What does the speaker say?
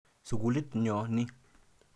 Sukulit nyo ni.